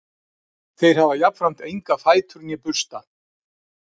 þeir hafa jafnframt enga fætur né bursta